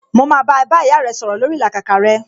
Mo máa bá ẹ bá ìyá rẹ sọ̀rọ̀ lórii ìlàkàkà rẹ